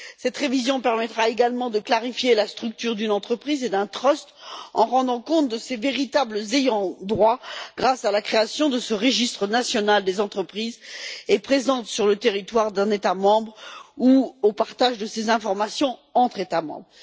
Cette révision permettra également de clarifier la structure d'une entreprise et d'un trust, en rendant compte des véritables ayants droit grâce à la création de ce registre national des entreprises présentes sur le territoire d'un État membre ou grâce au partage de ces informations entre États membres.